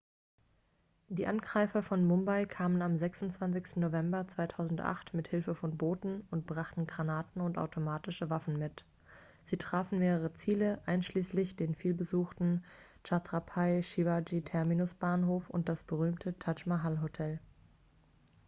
die angreifer von mumbai kamen am 26. november 2008 mit hilfe von booten und brachten granaten und automatische waffen mit sie trafen mehrere ziele einschließlich den vielbesuchten chhatrapai shivaji terminus-bahnhof und das berühmte taj mahal-hotel